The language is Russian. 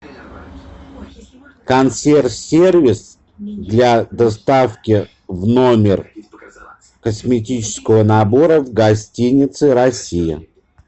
консьерж сервис для доставки в номер косметического набора в гостинице россия